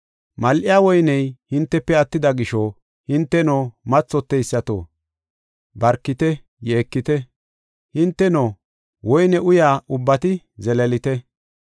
Mal7iya woyney hintefe attida gisho, hinteno, mathoteysato barkite yeekite! Hinteno, woyne uyiya ubbati zeleelite!